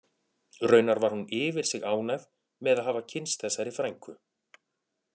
Raunar var hún yfir sig ánægð með að hafa kynnst þessari frænku